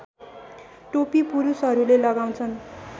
टोपी पुरुषहरूले लगाउँछन्